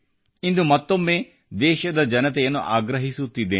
ಇಂದು ಮತ್ತೊಮ್ಮೆ ದೇಶದ ಜನತೆಯನ್ನು ಆಗ್ರಹಿಸುತ್ತಿದ್ದೇನೆ